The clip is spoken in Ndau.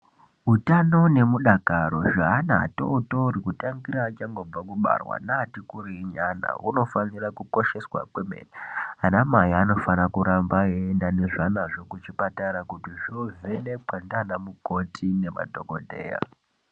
Utano neudakaro hweana atotori kubva angobarwa neati kurei hunofanirwe kukosheswa kwemene. Anamai vanofanirwe kuramba veienda nezvanazvo kuchipatara kuti zvoovhenekwa nanamukoti nemadhokodheya.